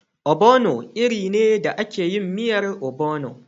Ogbono iri ne da ake yin miyan ogbono.